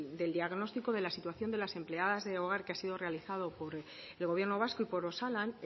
del diagnóstico de la situación de las empleadas de hogar que ha sido realizado por el gobierno vasco y por osalan